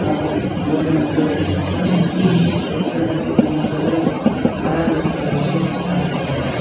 ಹಾಗೂ ಗ್ರೌಂಡಿ ನ ಮಧ್ಯದಲ್ಲಿ ಅತಿ ಎತ್ತರದಲ್ಲಿ ನಮ್ಮ ಧ್ವಜವು ಹಾರಾಡುತಿರುವ ದೃಶ್ಯ ಕಾಣಬಹುದಾಗಿದೆ.